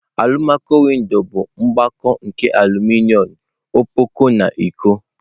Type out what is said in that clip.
Alumaco-windo bụ mgbakọ nke aluminom ọkpọkọ na iko.